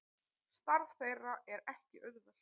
Starf þeirra er ekki auðvelt